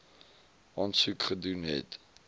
aansoek gedoen het